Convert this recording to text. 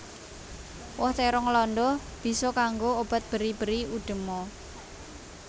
Woh térong landa bisa kanggo obat beri beri udema